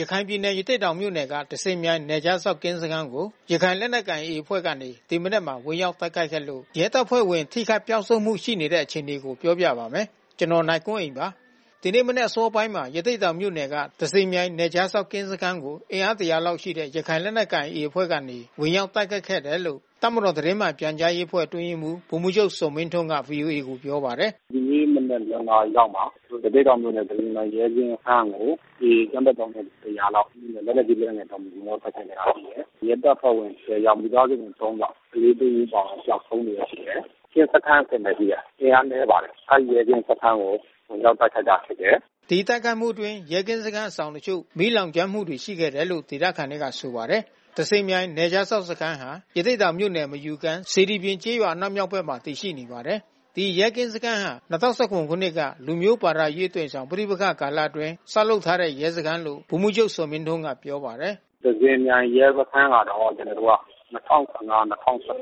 ရခိုင်ပြည်နယ်၊ ရသေ့တောင်မြို့နယ်က သဇင်မြိုင်နယ်ခြားစောင့်ကင်းစခန်းကို ရခိုင်လက်နက်ကိုင် AA အဖွဲ့ကနေ ဒီမနက်မှာ ဝင်ရောက်တိုက်ခိုက်ခဲ့လို့ ရဲတပ်ဖွဲ့ဝင်ထိခိုက်ပျောက်ဆုံးမှုရှိတဲ့ အခြေအနေကို ဗွီအိုအေမြန်မာပိုင်း သတင်းထောက် ကိုနိုင်ကွန်းအိန်က ပြောပြပါမယ်။ ဒီနေ့ မနက်အစောပိုင်းမှာ ရသေ့တောင်မြို့နယ်က သဇင်မြိုင်နယ်ခြားစောင့်ကင်း စခန်းကို အင်အား ၁၀၀ လောက် ရှိတဲ့ ရခိုင်လက်နက်ကိုင် AA အဖွဲ့ကနေ ဝင်ရောက်တိုက်ခိုက်ခဲ့တယ်လို့ တပ်မတော်သတင်းမှန်ပြန်ကြားရေးအဖွဲ့ အတွင်းရေးမှူးဗိုလ်မှူးချုပ်ဇော်မင်းထွန်းက ဗွီအိုအေကိုပြောပါတယ်။ “ဒီနေ့မနက် ၂ နာရီလောက်မှာ ရသေ့တောင်မြို့နယ် သဇင်မြိုင်ရဲကင်းစခန်းကို AA အကြမ်းဖက်သောင်းကျန်းသူ ၁၀၀ လောက် လက်နက်ကြီး၊ လက်နက်ငယ်တွေနဲ့ ဝင်ရောက်တိုက်ခိုက်ခဲ့တာရှိတယ်။ ရဲတပ်ဖွဲ့ဝင် ၁၀ ယောက်၊ မိသားစုဝင် ၃ ယောက်၊ ကလေးတဦးအပါဝင် ပျောက်ဆုံးနေတာရှိတယ်။ ကင်းစခန်းအဆင့်ပဲဖြစ်တယ်။ အင်အားနည်းပါတယ်။ အဲဒီ ကင်းစခန်းကို ဝင်ရောက်တိုက်ခိုက်တာဖြစ်တယ်။” ဒီတိုက်ခိုက်မှုအတွင်း ရဲကင်းစခန်းအဆောင်တချို့ မီးလောင်ကျွမ်းမှုတွေ ရှိခဲ့တယ်လို့ ဒေသခံတွေက ဆိုပါတယ်။ သဇင်မြိုင်နယ်ခြားစောင့်စခန်းဟာ ရသေ့တောင်မြို့နယ်၊ မယူကမ်း၊ စေတီပြင်ကျေးရွာအနောက်မြောက်ဘက်မှာ တည်ရှိနေပါတယ်။ ဒီရဲကင်းစခန်းဟာ ၂၀၁၇ ခုနှစ်က လူမျိုးဘာသာရေးအသွင်ဆောင် ပဋိပက္ခကာလအတွင်း ဆောက်ထားတဲ့ ရဲစခန်းလို့ ဗိုလ်မှူးချုပ်ဇော်မင်းထွန်းကပြောပါတယ်။ “သဇင်မြိုင်ရဲစခန်းကတော့ ကျနော်တို့က ၂၀၁၅-၂၀၁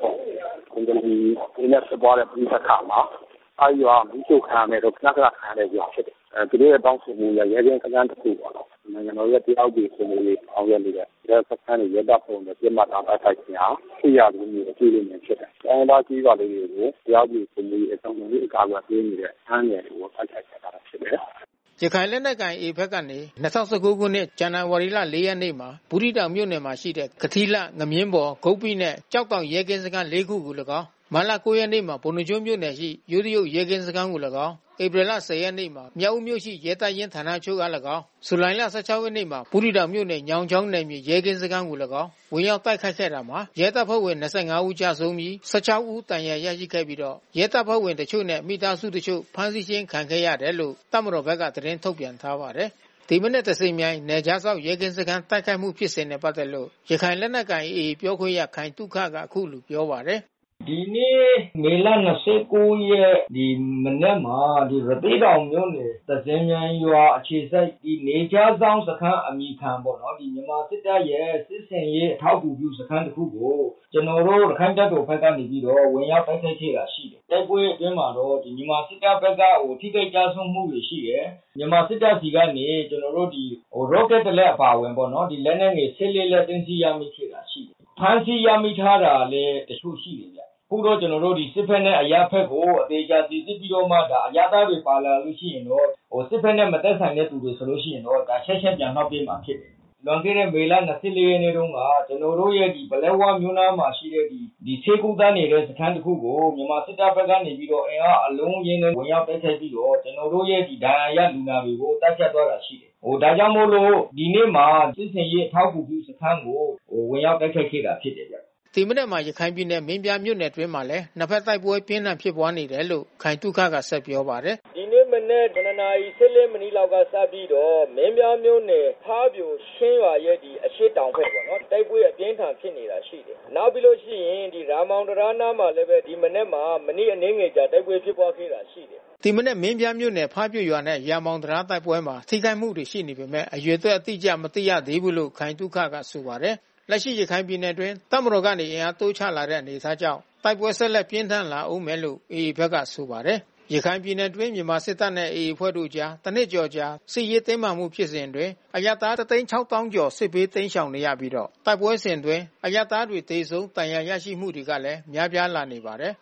၇ ဘင်္ဂလီတွေနဲ့ ဖြစ်ပွါးတဲ့ပဋိပက္ခမှာ အဲဒီရွာတွေကမီးရှို့ခံခဲ့တယ်။ ခဏခဏ ခံရတဲ့ရွာတွေဖြစ်တယ်။ သူတို့ရဲ့တောင်းဆိုမှုအရ ရဲကင်းစခန်းတခုပေါ့နော်။ နိုင်ငံတော်ရဲ့တရားဥပဒေ စိုးမိုးရေးဆောင်ရွက်နေတဲ့ ရဲစခန်းတွေရဲတပ်ဖွဲ့ကို ပစ်မှတ်ထားတိုက်ခိုက်ခြင်းဟာ စစ်ရာဇဝတ်မှုကို ကျူးလွန်တာဖြစ်တယ်။ တိုင်းရင်းသားကျေးရွာလေးတွေကို တရားဥပဒေစိုးမိုးရေး လုံခြုံရေးကာကွယ်ပေးနေတဲ့ စခန်းငယ်တွေကို တိုက်ခိုက်နေတာဖြစ်တယ်။” ရခိုင်လက်နက်ကိုင် AA ဘက်ကနေ ၂၀၁၉ ခုနှစ်၊ ဇန်နဝါရီ ၄ ရက်နေ့မှာ ဘူးသီးတောင်မြို့နယ်ရှိ ကထီးလှ၊ ငမြင်းဘော်၊ ဂုပ္ပိနှင့် ကျောက်တောင်ရဲကင်းစခန်း လေး ခုအားလည်းကောင်း၊ မတ်လ ၉ ရက်မှာ ပုဏ္ဏားကျွန်းမြို့နယ်ရှိ ယိုးတရုတ်ရဲကင်းစခန်းအားလည်းကောင်း၊ ဧပြီလ ၁၀ ရက်မှာ မြောက်ဦးမြို့ရှိ ရဲတပ်ရင်းဌာနချုပ်အား လည်းကောင်း၊ ဇူလိုင်လ ၁၆ ရက်နေ့မှာ ဘူးသီးတောင်မြို့နယ်ရှိ ညောင်ချောင်းနယ်မြေရဲကင်းစခန်းအား လည်းကောင်း ဝင်ရောက်တိုက်ခိုက်ခဲ့ရာ ရဲတပ်ဖွဲ့ဝင် ၂၅ ဦး ကျဆုံးပြီး ၁၆ ဦး ဒဏ်ရာရရှိခဲ့ပြီးတော့ ရဲတပ်ဖွဲ့ဝင်အချို့နဲ့ မိသား စုဝင်အချို့ ဖမ်းဆီးခြင်းခံခဲ့ရတယ်လို့ တပ်မတော်ဘက်ကသတင်းထုတ်ပြန်ထားပါတယ်။ ဒီမနက် သဇင်မြိုင်နယ်ခြားစောင့် ရဲကင်းစခန်းတိုက်ခိုက်မှုဖြစ်စဉ်နဲ့ ပတ်သက်လို့ ရခိုင်လက်နက်ကိုင် AA ပြောခွင့်ရ ခိုင်သုခက အခုလိုပြောပါတယ်။ “ဒီနေ့ မေလ ၂၉ ရက်နေ့မနက်မှာ ရသေ့တောင်မြို့နယ် သဇင်မြိုင်ရွာ အခြေစိုက် နယ်ခြားစောင့်စခန်းအမည်ခံပေါ့နော် မြန်မာစစ်တပ်ရဲ့စစ်ဆင်ရေးအထောက်ကူပြုစခန်း တခုကို ကျနော်တို့ရခိုင့်တပ်တော်ဘက်ကနေပြီးတော့ ဝင်ရောက်တိုက်ခိုက်ခဲ့တာ ရှိတယ်။ တိုက်ပွဲအတွင်းမှာတော့ မြန်မာစစ်တပ်ဘက်က ထိခိုက်ကျဆုံးမှုတွေ ရှိတယ်။ မြန်မာစစ်တပ်ဆီကနေ ကျနော်တို့ဒီ ရော့ကက်တလက်အပါဝင်ပေ့ါနော်။ လက်နက်ငယ် ၁၄ လက် သိမ်းဆည်းရမိတာရှိတယ်။ ဖမ်းဆီးရမိတာလည်း တခုရှိတယ်ဗျ။ အခုတော့ကျနော်တို့ စစ်ဘက်နဲ့အရပ်ဘက်ကို အသေချာစီစစ်ပြီးတော့မှ ဒါ အရပ်သားတွေ ပါလာလို့ရှိရင်တော့ စစ်ဘက်နဲ့မသက်ဆိုင်သူတွေ ပါလာလို့ရှိရင်တော့ ချက်ချင်းပြန်လွှတ်ပေးမှာဖြစ်တယ်။ လွန်ခဲ့တဲ့မေလ ၂၄ ရက်နေ့တုန်းက ကျနော်တို့ရဲ့ ပလက်ဝမြို့နားမှာရှိတဲ့ ဆေးကုသနေတဲ့ စခန်းတခုကို မြန်မာစစ်တပ်ဘက်ကနေပြီးတော့ အင်အားအလုံးအရင်းနဲ့ ဝင်ရောက်တိုက်ခိုက်ပြီးတော့ ကျနော်တို့ရဲ့ဒဏ်ရာရလူနာတွေကို သတ်ဖြတ်သွားတာရှိတယ်။ ဒါကြောင့်မို့လို့ ဒီနေ့မှာ စစ်ဆင်ရေးအထောက်ကူပြုစခန်းကို ဝင်ရောက်တိုက်ခိုက်ခဲ့တာဖြစ်တယ်။” ဒီကနေ့မှာ ရခိုင်ပြည်နယ် မင်းပြားမြို့နယ်အတွင်းမှာလည်း နှစ်ဘက်တိုက်ပွဲပြင်းထန်ဖြစ်ပွါးနေတယ်လို့ ခိုင်သုခကဆက် ပြောပါတယ်။ “ဒီနေ့မနက် ၇ နာရီ ၁၄ မိနစ်လောက်ကစပြီးတော့ မင်းပြားမြို့နယ် ဖားပြိုချင်းရွာရဲ့အရှေ့တောင်ဘက်ပေါ့နော်။ တိုက်ပွဲအပြင်းအထန်ဖြစ်နေတာရှိတယ်။ နောက်ပြီးလို့ရှိရင် ရာမောင်တံတားအနားမှာလည်းပဲ ဒီမနက်မှာ မိနစ်အနည်းငယ်ကြာ တိုက်ပွဲဖြစ်ပွါးခဲ့တာရှိတယ်။” ဒီမနက်မင်းပြားမြို့နယ် ဖါးပြိုရွာနဲ့ ရာမောင်တံတားတိုက်ပွဲမှာ ထိခိုက်မှုတွေရှိနေပေမဲ့ အရေအတွက်အတိကျ မသိ ရသေးဘူးလို့ခိုင်သုခကဆိုပါတယ်။ လက်ရှိရခိုင်ပြည်နယ်အတွင်းတပ်မတော်ကနေ အင်အားတိုးချလာတဲ့အနေအထားကြောင့် တိုက်ပွဲဆက်လက်ပြင်းထန် လာဦးမယ်လို့ AA ဘက်ကဆိုပါတယ်။ ရခိုင်ပြည်နယ်အတွင်း မြန်မာစစ်တပ်နဲ့ AA အဖွဲ့တို့အကြား တနှစ်ကျော်အကြာ စစ်ရေးတင်းမာမှုဖြစ်စဉ်အတွင်း အရပ်သား ၁၆၀,၀၀၀ ကျော် စစ်ဘေးတိမ်းရှောင်နေရပြီးတော့ တိုက်ပွဲစဉ်အတွင်း အရပ်သားတွေ သေဆုံးဒဏ်ရာ ရရှိမှုကလည်း များပြားလာနေပါတယ်